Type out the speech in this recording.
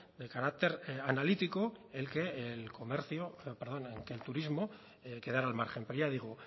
del carácter analítico en que el turismo quedara al margen pero ya digo